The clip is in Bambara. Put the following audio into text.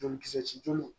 Jolikisɛ joli